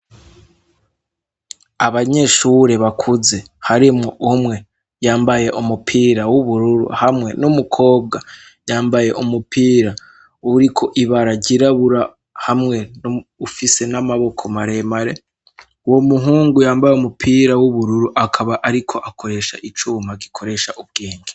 Abanyeshure bakuze harimwo umwe yambaye umupira w'ubururu hamwe n'umukobwa yambaye umupira uriko ibara ryairabura hamwe no ufise n'amaboko maremare uwo muhungu yambaye umupira w'ubururu akaba, ariko akoresha icumwa magikoresha ubwenge.